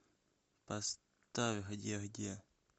поставь где где